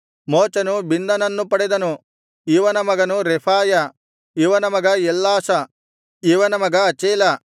ಮೋಚನು ಬಿನ್ನನನ್ನು ಪಡೆದನು ಇವನ ಮಗನು ರೆಫಾಯ ಇವನ ಮಗ ಎಲ್ಲಾಸ ಇವನ ಮಗ ಅಚೇಲ